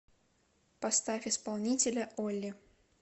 поставь исполнителя олли